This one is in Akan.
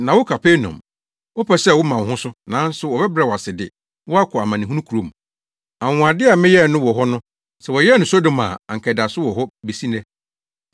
Na wo Kapernaum, wopɛ sɛ woma wo ho so, nanso wɔbɛbrɛ wo ase de wo akɔ amanehunu kurom. Anwonwade a meyɛɛ no wo hɔ no, sɛ wɔyɛɛ no Sodom a, anka ɛda so wɔ hɔ besi nnɛ.